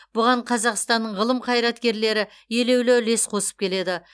бұған қазақстанның ғылым қайраткерлері елеулі үлес қосып келеді